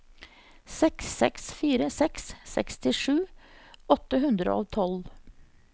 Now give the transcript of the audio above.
seks seks fire seks sekstisju åtte hundre og tolv